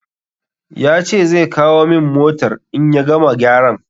Ya ce zai kawo min motar in ya gama gyaran.